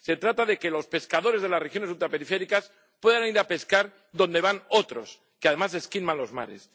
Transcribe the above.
Se trata de que los pescadores de las regiones ultraperiféricas puedan ir a pescar donde van otros, que además esquilman los mares.